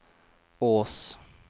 Ås